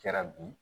Kɛra bi